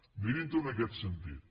mirin ho en aquest sentit